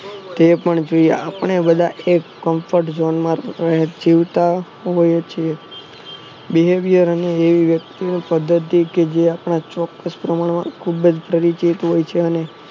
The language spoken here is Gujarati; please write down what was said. તે પણ છે આપણે બધા એક confront જોનમાં જીવતા રહીએ છીએ behaviour અને એવી વ્યક્તિઓ એવી પધ્ધતિ કે આપણા ચોક્કસ પ્રમાણમાં પરિચિત હોય છે અને